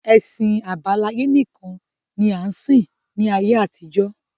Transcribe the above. Ẹ̀sìn àbáláyé nìkan ni a ń sìn ní ayé àtijọ́